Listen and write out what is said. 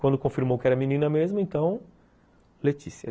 Quando confirmou que era menina mesmo, então Letícia.